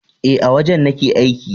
E, a wajen nake aiki.